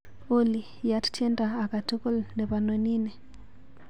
Olly, yaat tyendo akatukul nebo Nonini.